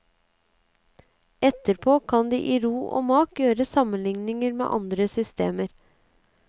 Etterpå kan de i ro og mak gjøre sammenligninger med andre systemer.